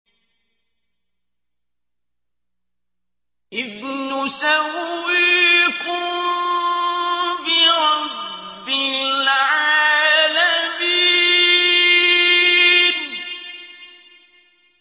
إِذْ نُسَوِّيكُم بِرَبِّ الْعَالَمِينَ